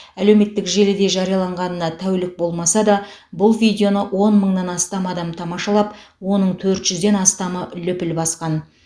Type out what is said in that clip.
әлеуметтік желіде жарияланғанына тәулік болмаса да бұл видеоны он мыңнан астам адам тамашалап оның төрт жүзден астамы лүпіл басқан